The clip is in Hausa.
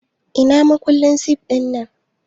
Ina makullin sif ɗinnan?